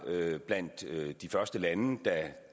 blandt de første lande da